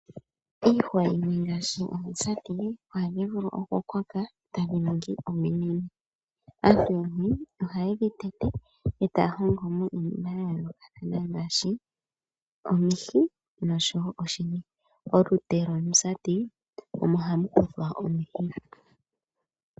Iihwa yimwe ngaashi omusati ohadhi vulu oku koka etadhi ningi ominene. Aantu yamwe oha yedhi tete etaya hongomo iinima ya yoolokathana ngaashi omihi noshowo oshini. Olute lwomusati omo hamu kuthwa omihi.